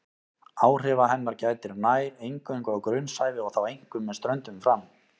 Áhrifa hennar gætir nær eingöngu á grunnsævi og þá einkum með ströndum fram.